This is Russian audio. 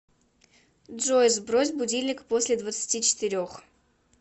джой сбрось будильник после двадцати четырех